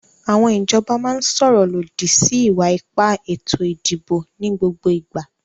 Àwọn ìjọba máa ń sọ̀rọ̀ lòdì sí ìwà ipá ètò ìdìbò ní gbogbo ìgbà.